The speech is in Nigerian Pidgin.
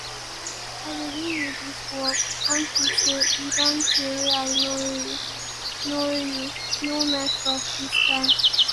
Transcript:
i dey give you dis work unto say e don tey wey i know you no know you no mess up dis time